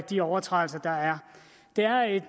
de overtrædelser der er det er et